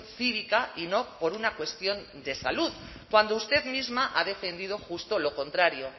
cívica y no por una cuestión de salud cuando usted misma ha defendido justo lo contrario